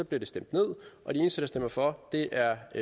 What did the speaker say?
bliver stemt ned og de eneste der stemmer for er